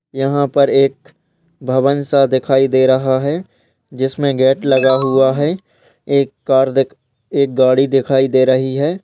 यहाँ पर एक भवन सा दिखाई दे रहा है जिसमे गेट लगा हुआ है। एक कार देख एक गाड़ी दिखाई दे रही है।